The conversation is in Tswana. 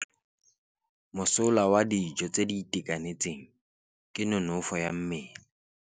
Mosola wa dijô tse di itekanetseng ke nonôfô ya mmele.